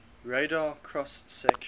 radar cross section